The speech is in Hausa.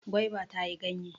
Gwaiba ta yi ganye.